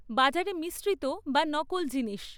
বাজারে মিশ্রিত বা নকল জিনিস